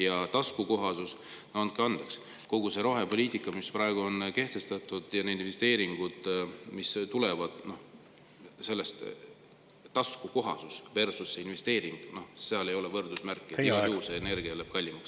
Ja taskukohasus – andke andeks, kogu see rohepoliitika, mis praegu on kehtestatud, ja need investeeringud, mis tulevad – taskukohasus versus see investeering, seal ei ole võrdusmärki, igal juhul energia läheb kallimaks.